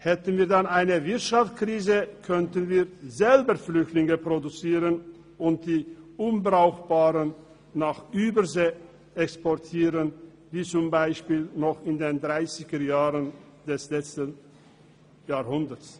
Hätten wir dann eine Wirtschaftskrise, könnten wir selber Flüchtlinge produzieren und die Unbrauchbaren nach Übersee exportieren, wie zum Beispiel noch in den Dreissigerjahren des letzten Jahrhunderts.